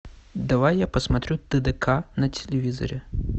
давай я посмотрю тдк на телевизоре